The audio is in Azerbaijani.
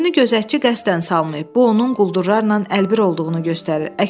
Körpünü gözətçi qəsdən salmayıb, bu onun quldurlarla əlbir olduğunu göstərir.